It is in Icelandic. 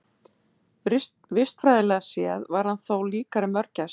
Vistfræðilega séð var hann þó líkari mörgæsum.